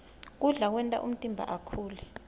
kudla kwenta umtimba ukhule